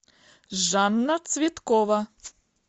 жанна цветкова